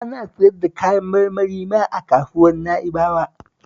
Ana siyar da kayan marmari ma a Kasuwar Na'bawa